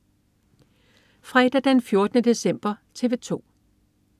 Fredag den 14. december - TV 2: